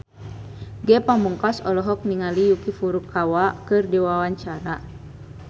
Ge Pamungkas olohok ningali Yuki Furukawa keur diwawancara